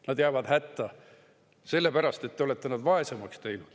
Nad jäävad hätta, sellepärast et te olete nad vaesemaks teinud.